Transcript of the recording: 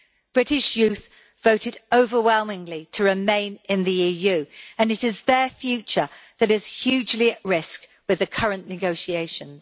British youth voted overwhelmingly to remain in the EU, and it is their future that is hugely at risk with the current negotiations.